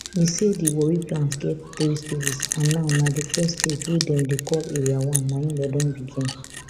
e say di warri plant get three stages and now na di first stage wey dem dem call area one na im dem don begin